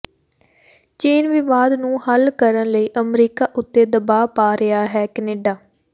ਚੀਨ ਵਿਵਾਦ ਨੂੰ ਹੱਲ ਕਰਨ ਲਈ ਅਮਰੀਕਾ ਉੱਤੇ ਦਬਾਅ ਪਾ ਰਿਹਾ ਹੈ ਕੈਨੇਡਾ